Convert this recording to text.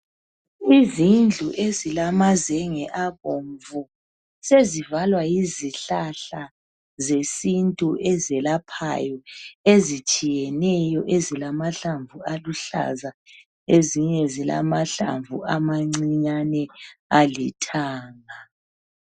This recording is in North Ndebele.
Izindlu ezilamazenge abomvu sezivalwa yizihlahla zesintu eziyelaphayo ezitshiyeneyo ezilamahlamvu aluhlaza ezinye zilamahlamvu amancinyane alithanga.